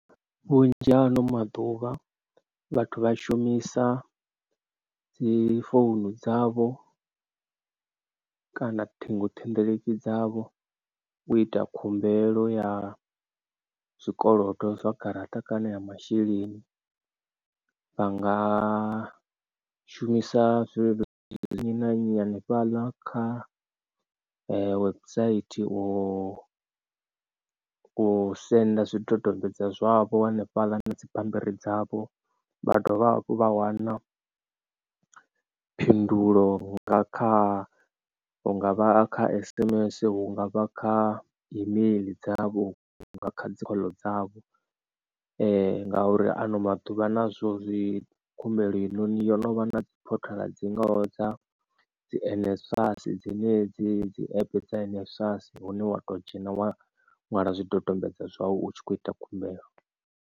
Vhunzhi ha ano maḓuvha vhathu vha shumisa dzi founu dzavho kana ṱhingothendeleki dzavho u ita khumbelo ya zwikolodo zwa garaṱa kana ya masheleni vha nga shumisa zwileludzi nnyi na nnyi hanefhaḽa kha website wo senda zwidodombedzwa zwavho hanefhaḽa na dzibammbiri dzavho. Vha dovha hafhu vha wana phindulo nga kha hunga vha kha sms hunga vha kha email dzavho nga kha dzi khoḽo dzavho ngauri ha ano maḓuvha nazwo dzi khumbelo heinoni yo no vha na dzi portal dzi ngo dza dzi N_S_F_A_S dzine dzi dzi app dza N_S_F_A_S hune wa to dzhena wa ṅwala zwidodombedzwa zwau utshi kho ita khumbelo.